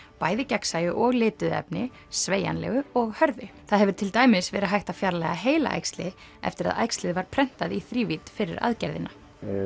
bæði gegnsæju og lituðu efni sveigjanlegu og hörðu það hefur til dæmis verið hægt að fjarlægja heilaæxli eftir að æxlið var prentað í þrívídd fyrir aðgerðina